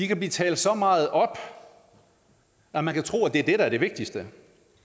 kan blive talt så meget op at man kan tro at det er det der er det vigtigste